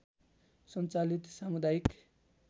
सञ्चालित सामुदायिक